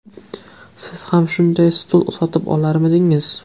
Siz ham shunday stul sotib olarmidingiz?